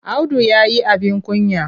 Audu ya yi abin kunya.